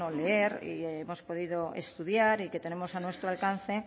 leer y hemos podido estudiar y que tenemos a nuestro alcance